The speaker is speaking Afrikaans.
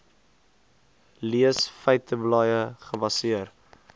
leesbare feiteblaaie gebaseer